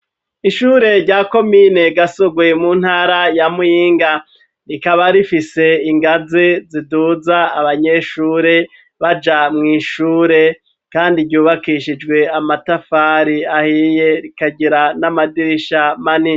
Ishure rya komine gasoguye mu ntara ya mwinga rikaba rifise ingazi ziduza abanyeshure baja mw'ishure, kandi ryubakishijwe amatafari ahiye rikagira n'amadirisha mania.